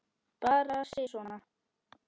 Bara sisona.